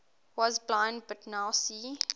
was blind but now see